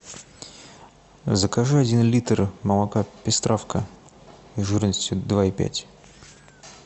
закажи один литр молока пестравка жирностью два и пять